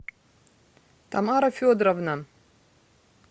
тамара федоровна